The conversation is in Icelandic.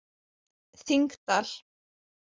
Þingdal